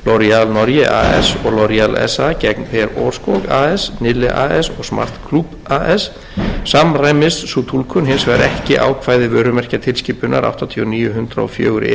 norge as og sa gegn per aarskog as nille as og smart as samræmist sú túlkun hins vegar ekki ákvæði vörumerkjatilskipunar áttatíu og níu hundrað og fjögur e b e eins